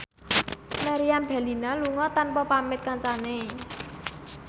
Meriam Bellina lunga tanpa pamit kancane